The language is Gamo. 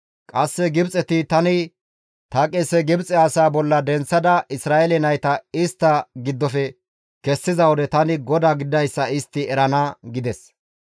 Qasse Gibxeti tani ta qese Gibxe asaa bolla denththada Isra7eele nayta istta giddofe kessiza wode tani GODAA gididayssa istti erana» gides.